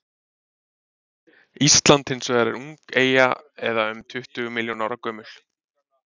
ísland hins vegar er ung eyja eða um tuttugu milljón ára gömul